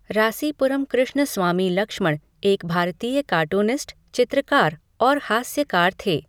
रासीपुरम कृष्णस्वामी लक्ष्मण एक भारतीय कार्टूनिस्ट, चित्रकार और हास्यकार थे।